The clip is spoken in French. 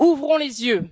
Ouvrons les yeux!